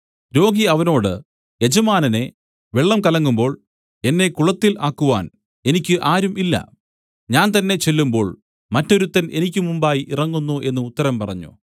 രോഗി അവനോട് യജമാനനേ വെള്ളം കലങ്ങുമ്പോൾ എന്നെ കുളത്തിൽ ആക്കുവാൻ എനിക്ക് ആരും ഇല്ല ഞാൻ തന്നേ ചെല്ലുമ്പോൾ മറ്റൊരുത്തൻ എനിക്ക് മുമ്പായി ഇറങ്ങുന്നു എന്നു ഉത്തരം പറഞ്ഞു